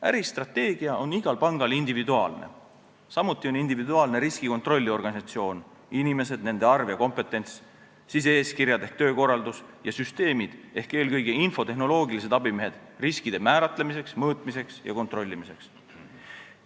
Äristrateegia on igal pangal individuaalne, samuti on individuaalne riskikontrolli organisatsioon: inimesed, nende arv ja kompetents, sise-eeskirjad ehk töökorraldus ja süsteemid ehk eelkõige infotehnoloogilised abimehed riskide määratlemiseks, mõõtmiseks ja kontrollimiseks.